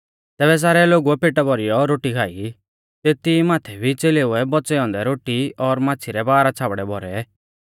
तैबै सारै लोगुऐ पेटा भौरीऔ रोटी खाई तेती माथै भी च़ेलेउऐ बौच़ै औन्दै रोटी और माच़्छ़ी रै बारह छ़ाबडै भौरै